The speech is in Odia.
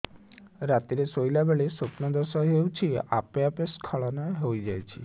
ରାତିରେ ଶୋଇଲା ବେଳେ ସ୍ବପ୍ନ ଦୋଷ ହେଉଛି ଆପେ ଆପେ ସ୍ଖଳନ ହେଇଯାଉଛି